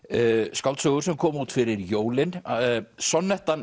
skáldsögur sem komu út fyrir jólin